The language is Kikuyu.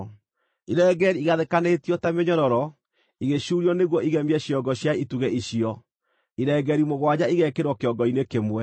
Irengeeri igathĩkanĩtio ta mĩnyororo igĩcuurio nĩguo igemie ciongo cia itugĩ icio, irengeeri mũgwanja igekĩrwo kĩongo-inĩ kĩmwe.